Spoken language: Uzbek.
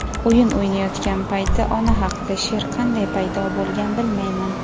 o‘yin o‘ynayotgan payti ona haqida she’r qanday paydo bo‘lgan bilmayman..